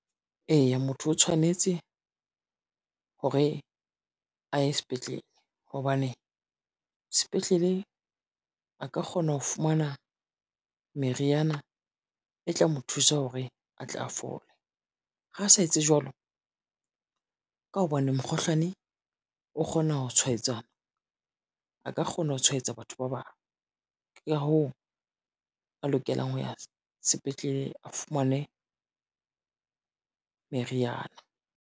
Eya motho o tshwanetse hore, a ye sepetlele hobane, sepetlele a ka kgona ho fumana meriana e tla mo thusa hore a tle a fole. Ha a sa etse jwalo, ka hobane mokgohlane o kgona ho tshwaetsana a ka kgona ho tshwaetsa batho ba bang. Ke ka hoo a lokelang ho ya sepetlele a fumane meriana.